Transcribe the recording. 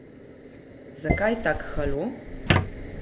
Zakaj tak halo?